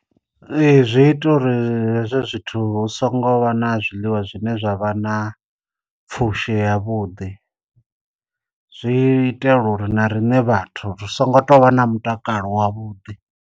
Ee zwi ita uri hezwo zwithu hu songo vha na zwiḽiwa zwine zwavha na pfhushi ya vhuḓi, zwi itela uri na riṋe vhathu ri songo tovha na mutakalo wa vhuḓi.